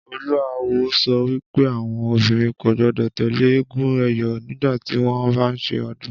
Olú awo so̩ wí pé àwo̩n obìnrin kò gbó̩dò̩ tè̩lé eégún è̩yó̩ nígbà tí wó̩n bá ń s̩e o̩dún